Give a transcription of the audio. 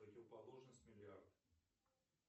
противоположность миллиард